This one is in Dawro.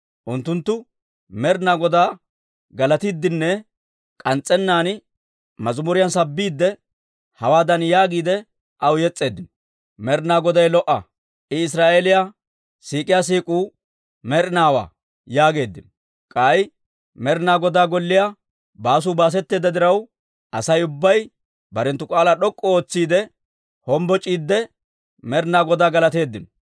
Unttunttu Med'inaa Godaa galatiiddinne k'ans's'ennaan mazimuriyaan sabbiidde, hawaadan yaagiide, aw yes's'eeddino; «Med'inaa Goday lo"a; I Israa'eeliyaa siik'iyaa siik'uu med'inaawaa» yaageeddino. K'ay Med'ina Godaa Golliyaa baasuu baasetteedda diraw, Asay ubbay barenttu k'aalaa d'ok'k'u ootsiide hombboc'iidde, Med'inaa Godaa galateeddino.